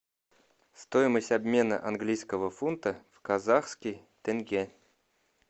стоимость обмена английского фунта в казахский тенге